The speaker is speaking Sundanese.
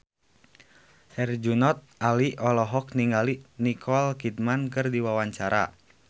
Herjunot Ali olohok ningali Nicole Kidman keur diwawancara